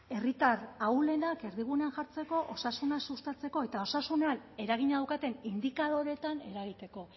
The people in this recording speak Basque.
herritar ahulenak erdigunean jartzeko osasuna sustatzeko eta osasunean eragina daukaten indikadoreetan eragiteko